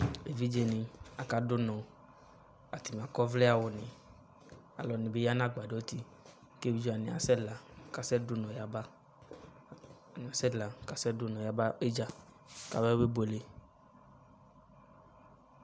Evidze de ne aka do unɔ kakɔ ɔvlɛ awune Ɛdene be ya no agbadɔ ti ke evidze wane asɛ la kasɛ du unɔ yaba, atame asɛ la kasɛ do unɔ yaba idza kaba be buele